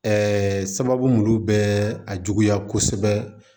sababu mun bɛ a juguya kosɛbɛ